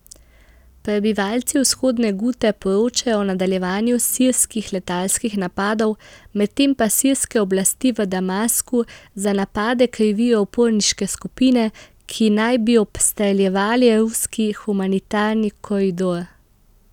Prebivalci Vzhodne Gute poročajo o nadaljevanju sirskih letalskih napadov, medtem pa sirske oblasti v Damasku za napade krivijo uporniške skupine, ki naj bi obstreljevale ruski humanitarni koridor.